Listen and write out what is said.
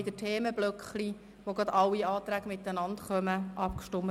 Bitte halten Sie sich an diese Redezeiten.